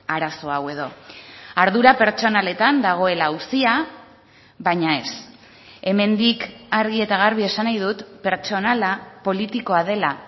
arazo hau edo ardura pertsonaletan dagoela auzia baina ez hemendik argi eta garbi esan nahi dut pertsonala politikoa dela